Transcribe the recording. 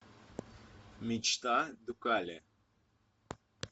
мечта дукале